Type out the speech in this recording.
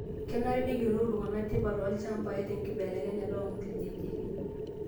Kenare neyiolou ltung'ana tipat oo lchambai te nkibelekenyata oo lkijijini